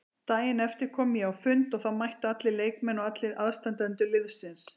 Daginn eftir kom ég á fund og þá mættu allir leikmenn og allir aðstandendur liðsins.